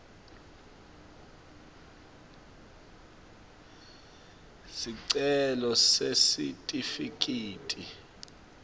sicelo sesitifiketi